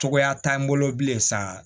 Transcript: Cogoya t'an bolo bilen sa